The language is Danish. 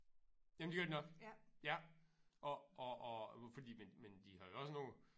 Jamen det gør de nok ja og og og fordi men men de har jo også nogle